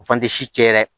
O fan tɛ si cɛ yɛrɛ